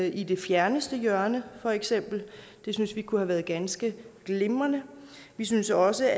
i det fjerneste hjørne for eksempel det synes vi kunne have været ganske glimrende vi synes også